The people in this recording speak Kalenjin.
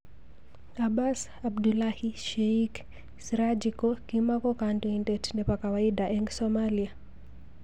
Abas Abdullahi. Sheik? Siraji ko.kimako kandoindet nepo kawaida eng Somalia.